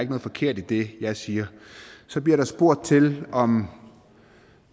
noget forkert i det jeg siger så bliver der spurgt til om